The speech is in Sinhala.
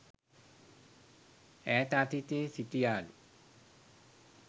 ඈත අතීතයේ සිටියාලු.